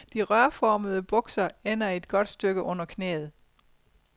De rørformede bukser ender et godt stykke under knæet.